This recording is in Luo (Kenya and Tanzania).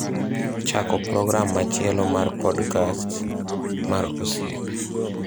chako program machielo mar podcasts mar osiepe